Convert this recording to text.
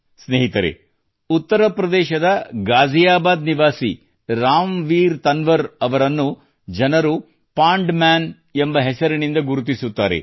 ಸ್ನೇಹಿತರೇ ಉತ್ತರ ಪ್ರದೇಶದ ಗಾಜಿಯಾಬಾದ್ ನಿವಾಸಿ ರಾಮ್ವೀರ್ ಅವರನ್ನು ಜನರು ಪಾಂಡ್ ಮ್ಯಾನ್ ಎಂಬ ಹೆಸರಿನಿಂದ ಗುರುತಿಸುತ್ತಾರೆ